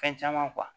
Fɛn caman